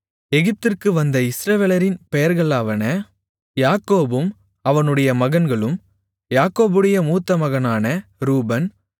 எகிப்திற்கு வந்த இஸ்ரவேலரின் பெயர்களாவன யாக்கோபும் அவனுடைய மகன்களும் யாக்கோபுடைய மூத்தமகனான ரூபன்